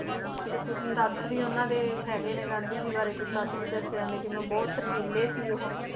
ਤੇ ਕੁਛ ਤੱਥ ਵੀ ਉਹਨਾਂ ਦੇ ਹੈਗੇ ਨੇ ਗਾਂਧੀ ਜੀ ਬਾਰੇ ਕੁਛ ਤੱਥ ਵੀ ਦੱਸੇ ਜਾਂਦੇ ਆ ਕਿਵੇਂ ਬਹੁਤ ਸ਼ਰਮੀਲੇ ਸੀ ਉਹ